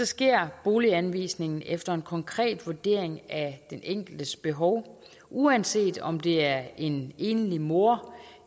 sker boliganvisningen efter en konkret vurdering af den enkeltes behov uanset om det er en enlig mor